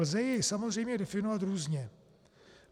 Lze jej samozřejmě definovat různě.